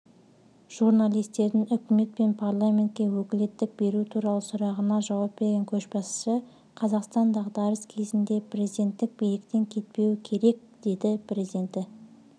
журналистердің үкімет пен парламентке өкілеттік беру туралы сұрағына жауап берген көшбасшы қазақстан дағдарыс кезінде президенттік биліктен кетпеуі керек деді президенті